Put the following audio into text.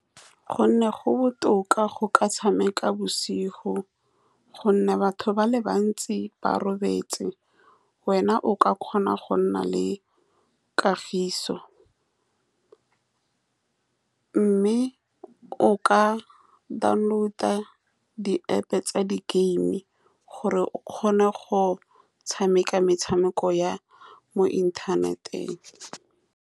Ka gonne go botoka go ka tshameka bosigo, ka gonne batho ba le bantsi ba robetse, wena o ka kgona go nna le kagiso, mme o ka download-e di-App-po tsa di-game gore o kgone go tshameka metshameko ya mo inthaneteng.